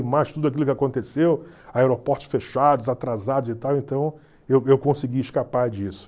E mais tudo aquilo que aconteceu, aeroportos fechados, atrasados e tal, então eu eu consegui escapar disso.